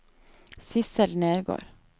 Sidsel Nergård